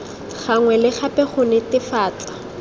gangwe le gape go netefatsa